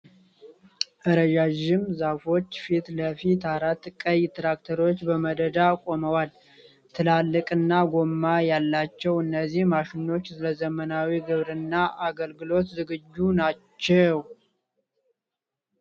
ረዣዥም ዛፎች ፊት ለፊት አራት ቀይ ትራክተሮች በመደዳ ቆመዋል፡፡ ትላልቅ እና ጎማ ያላቸው እነዚህ ማሽኖች ለዘመናዊ ግብርና አገልግሎት ዝግጁ ናቸው።